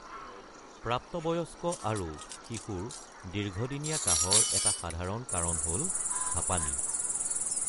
প্ৰাপ্তবয়স্ক আৰু শিশুৰ দীৰ্ঘদিনীয়া কাহৰ এটা সাধাৰণ কাৰণ হ’ল হাঁপানী।